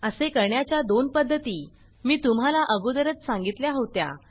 असे करण्याच्या दोन पद्धती मी तुम्हाला अगोदरच सांगितल्या होत्या